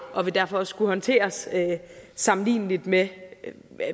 og vil derfor også kunne håndteres sammenligneligt med